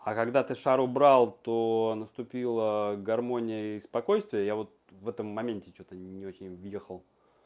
а когда ты шар убрал то наступила гармония и спокойствие я вот в этом моменте что-то не очень въехал